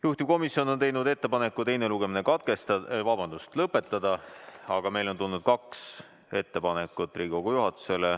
Juhtivkomisjon on teinud ettepaneku teine lugemine lõpetada, aga Riigikogu juhatusele on tulnud veel kaks ettepanekut.